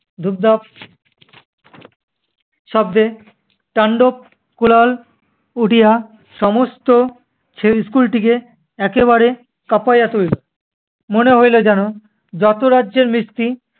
ধুপধাপ শব্দে তান্ডব কুরাল উডিয়া সমস্ত সেই school টিকে একেবারে পাকাইয়া তুলিল মনে হইল যেনো, যত রাজ্যের মিষ্টি